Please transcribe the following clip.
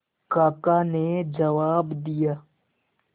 काका ने जवाब दिया